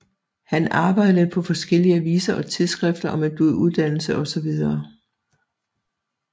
Han arbejdede på forskellige aviser og tidsskrifter og med uddannelse osv